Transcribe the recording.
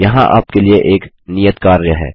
यहाँ आप के लिए एक नियत कार्य है